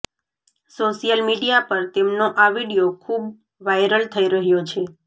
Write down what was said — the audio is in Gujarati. સોશ્યલ મીડિયા પર તેમનો આ વીડિયો ખૂબ વાયરલ થઇ રહ્યો છે